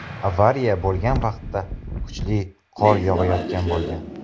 Avariya bo‘lgan vaqtda kuchli qor yog‘ayotgan bo‘lgan.